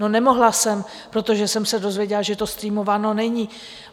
No, nemohla jsem, protože jsem se dozvěděla, že to streamováno není.